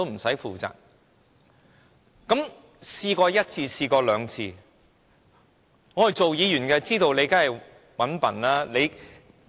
事情發生過一次、兩次，我們身為議員當然知道你是"搵笨"的。